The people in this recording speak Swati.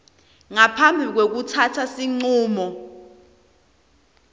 ngaphambi kwekutsatsa sincumo